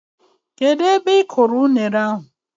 Kedụ ebe ị kụrụ unere ahụ?